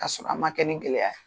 Ka sɔrɔ an ma kɛ nin gɛlɛya